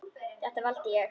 Þetta valdi ég.